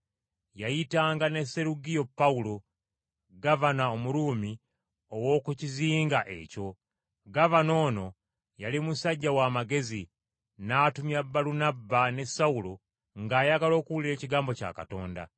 Yayitanga ne Serugiyo Pawulo, gavana Omuruumi ow’oku kizinga ekyo. Gavana ono yali musajja w’amagezi, n’atumya Balunabba ne Sawulo ng’ayagala okuwulira ekigambo kya Katonda.